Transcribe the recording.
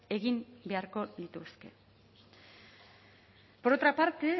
egin beharko dituzte por otra parte